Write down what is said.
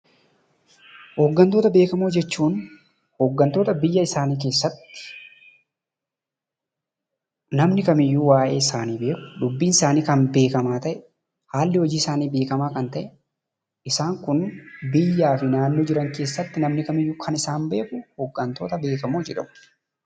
Hooggantoota beekamoo jechuun hooggantoota biyya isaanii keessatti namni kamiyyuu waa'ee isaanii beeku, dubbiinsaanii kan beekamaa ta'e, haalli hojiisaanii beekamaa kan ta'e, isaan kun biyyaa fi naannoo jiran keessatti namni kamiyyuu kan isaan beeku hooggantoota beekamoo jedhamu.